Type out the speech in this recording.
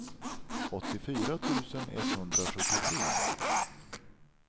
åttiofyra tusen etthundrasjuttiotre